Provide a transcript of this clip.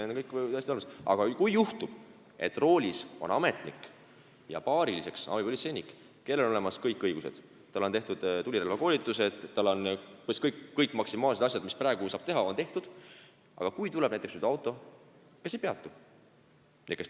Aga kujutame ette, et roolis on ametnik ja paariliseks abipolitseinik, kellel on olemas kõik õigused, kellel on tehtud tulirelvakoolitused ja kõik asjad, mida praegu saab teha, ning tuleb näiteks auto, mis ei peatu.